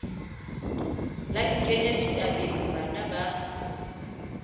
la nkenya ditabeng bana ba